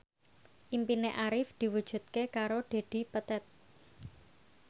impine Arif diwujudke karo Dedi Petet